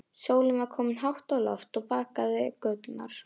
Sólin var komin hátt á loft og bakaði göturnar.